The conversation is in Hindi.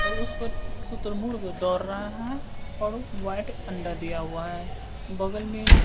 और उस पर शुतुरमुर्ग दौड़ रहा है और व्हाइट अंडा दिया हुआ है बगल में--